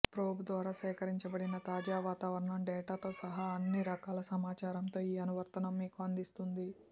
probe ద్వారా సేకరించబడిన తాజా వాతావరణం డేటాతో సహా అన్ని రకాల సమాచారంతో ఈ అనువర్తనం మీకు అందిస్తుంది